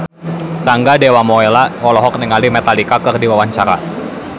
Rangga Dewamoela olohok ningali Metallica keur diwawancara